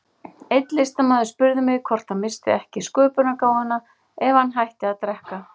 Einn listamaður spurði mig hvort hann missti ekki sköpunargáfuna ef hann hætti að drekka.